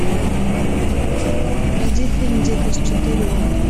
найди фильм дикость четыре оргия